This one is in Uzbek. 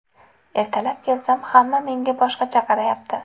Ertalab kelsam, hamma menga boshqacha qarayapti.